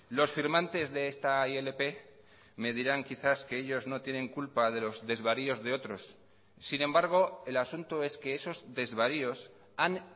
los firmantes de esta ilp me dirán quizás que ellos no tienen culpa de los desvaríos de otros sin embargo el asunto es que esos desvaríos han